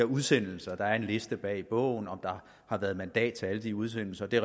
udsendelserne der er en liste bag i bogen om der har været mandat til alle de udsendelser det